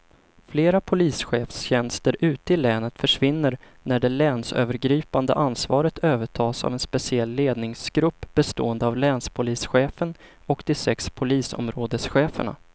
Flera polischefstjänster ute i länet försvinner när det länsövergripande ansvaret övertas av en speciell ledningsgrupp bestående av länspolischefen och de sex polisområdescheferna.